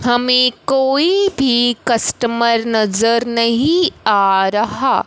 हमें कोई भी कस्टमर नजर नहीं आ रहा--